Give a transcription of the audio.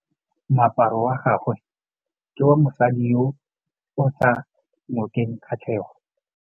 Moaparô wa gagwe ke wa mosadi yo o sa ngôkeng kgatlhegô.